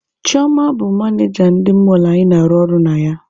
Chioma bụ manịja ndị mọlụ anyị na-arụ ọrụ na ya.